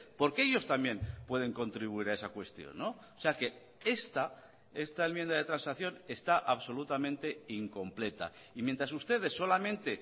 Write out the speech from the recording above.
porque ellos también pueden contribuir a esa cuestión o sea que esta esta enmienda de transacción está absolutamente incompleta y mientras ustedes solamente